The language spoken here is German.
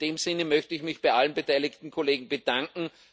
In dem Sinne möchte ich mich bei allen beteiligten Kollegen bedanken.